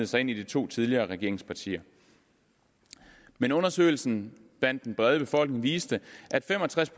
sig ind i de to tidligere regeringspartier men undersøgelsen blandt den brede befolkning viste at fem og tres